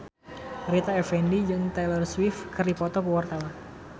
Rita Effendy jeung Taylor Swift keur dipoto ku wartawan